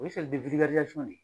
O ye ne